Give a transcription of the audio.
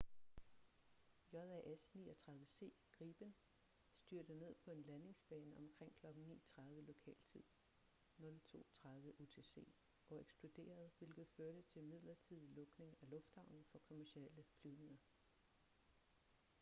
jas 39c gripen styrtede ned på en landingsbane omkring kl. 9.30 lokal tid 02.30 utc og eksploderede hvilket førte til midlertidig lukning af lufthavnen for kommercielle flyvninger